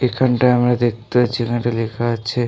এখানটায় আমরা দেখতে পারছি এখানটায় লেখা আছে ।